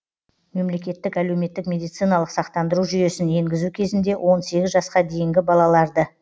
мемлекеттік әлеуметтік медициналық сақтандыру жүйесін енгізу кезінде он сегіз жасқа дейінгі балаларды